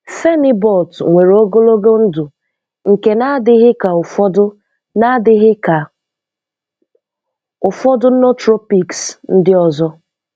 Phenibut nwèrè ógólógó ndụ̀ ṅké ná-ádịghị kà ụ̀fọ́dụ́ ná-ádịghị kà ụ̀fọ́dụ́ nootropics ndị́ ọzọ